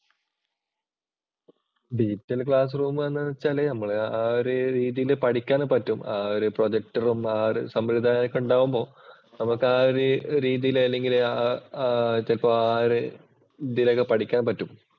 Digital‍ classroom എന്ന് വച്ചാല് നമ്മള് ആ ഒരു രീതിയിൽ പഠിക്കാൻ പറ്റും. ഒരു പ്രൊജക്ടറും ആ ഒരു സംവിധാനവും ഒക്കെ ഉണ്ടാവുമ്പോൾ നമുക്കാ ഒരു രീതിയിൽ അല്ലെങ്കിൽ ചിലപ്പോൾ ഇതിലൊക്കെ പഠിക്കാന്‍ പറ്റും.